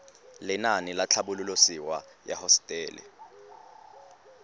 lenaane la tlhabololosewa ya hosetele